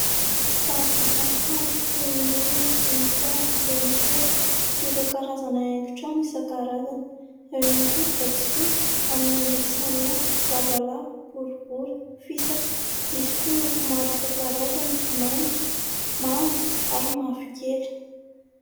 Sary vita amin'ny hazo toy ny olona voninkazo, laona kely sy ireo karazana haingo trano isan-karazany. Eo ihany koa vatosoa amin'ny endriny samihafa lavalava, boribory, fisaka. Misy koa loko maro isan-karazany mainty, mavo ary mavokely.